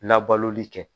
Labaloli kɛ